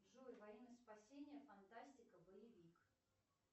джой во имя спасения фантастика боевик